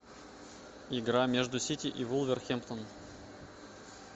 игра между сити и вулверхэмптон